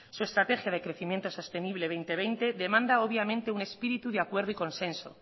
su estrategia de crecimiento sostenible dos mil veinte demanda obviamente un espíritu de acuerdo y consenso